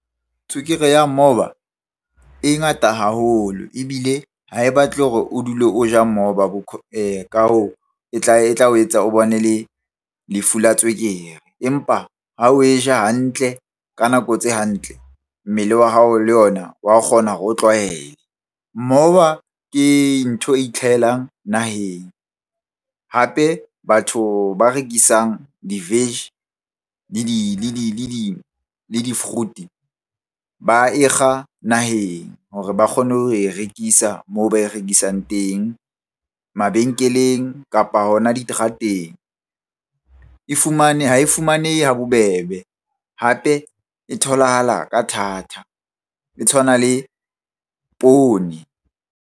Tswekere ya mmoba e ngata haholo ebile ha e batle hore o dule o ja mmoba ka hoo, e tla o etsa o bane le lefu la tswekere. Empa ha oe ja hantle, ka nako tse hantle mmele wa hao le ona wa kgona hore o tlwahele. Mmoba ke ntho e itlhahelang naheng hape, batho ba rekisang di le di-fruit-e. Ba e kga naheng hore ba kgone ho e rekisa moo ba e rekisang teng mabenkeleng, kapa hona diterateng E fumaneha, ha e fumanehe ha bobebe, hape e tholahala ka thata e tshwana le poone.